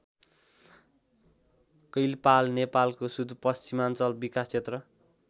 कैलपाल नेपालको सुदूरपश्चिमाञ्चल विकास क्षेत्र